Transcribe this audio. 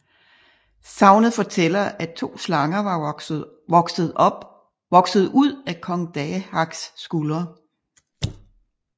Sagnet fortæller at to slanger var vokset ud af kong Dahaks skuldre